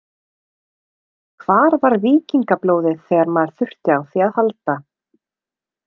Hvar var víkingablóðið þegar maður þurfti á því að halda.